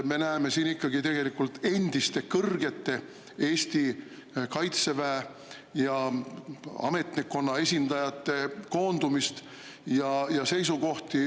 Me näeme seal endiste Eesti Kaitseväe ja ametnikkonna kõrgete esindajate koondumist.